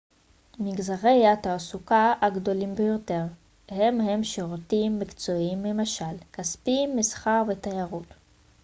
מגזרי התעסוקה הגדולים ביותר הם הם שירותים מקצועיים ממשל כספים מסחר ותיירות